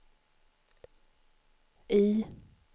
I